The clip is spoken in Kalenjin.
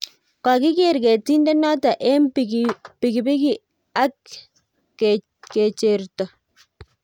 kokiker ketinde noto eng pinginik ak kecherto